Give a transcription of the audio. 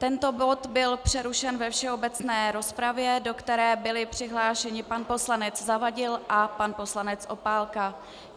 Tento bod byl přerušen ve všeobecné rozpravě, do které byli přihlášeni pan poslanec Zavadil a pan poslanec Opálka.